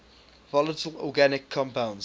volatile organic compounds